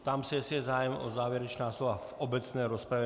Ptám se, jestli je zájem o závěrečná slova v obecné rozpravě.